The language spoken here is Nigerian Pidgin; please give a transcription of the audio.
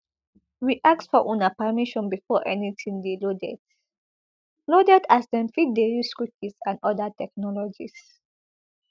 we ask for una permission before anytin dey loaded loaded as dem fit dey use cookies and oda technologies